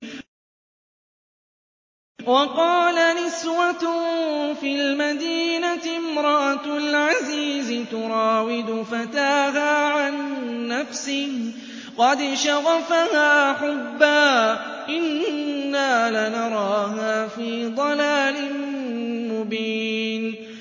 ۞ وَقَالَ نِسْوَةٌ فِي الْمَدِينَةِ امْرَأَتُ الْعَزِيزِ تُرَاوِدُ فَتَاهَا عَن نَّفْسِهِ ۖ قَدْ شَغَفَهَا حُبًّا ۖ إِنَّا لَنَرَاهَا فِي ضَلَالٍ مُّبِينٍ